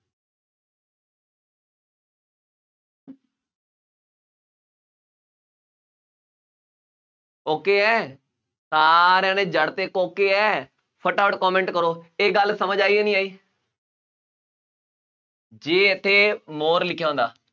okay ਹੈ, ਸਾਰਿਆਂ ਨੇ ਜੜਤੇ ਕੋਕੇ ਹੈ, ਫਟਾਫਟ comment ਕਰੋ, ਇਹ ਗੱਲ ਸਮਝ ਆਈ, ਨਹੀਂ ਆਈ, ਜੇ ਇੱਥੇ more ਲਿਖਿਆ ਹੁੰਦਾ,